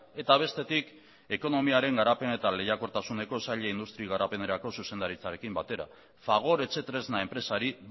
eta bestetik ekonomiaren garapen eta lehiakortasuneko saila industri garapenerako zuzendaritzarekin batera fagor etxetresna enpresari